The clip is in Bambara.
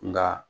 Nka